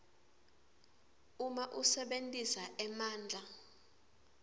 uma usebentisa emandla